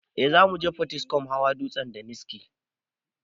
Eh zamuje potiskum hawa dutsen daniski